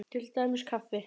Til dæmis kaffi.